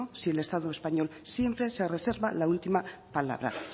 si el estado español siempre se reserva la última palabra